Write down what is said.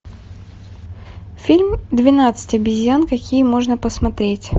фильм двенадцать обезьян какие можно посмотреть